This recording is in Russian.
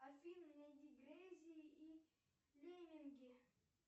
афина найди грейси и лемминги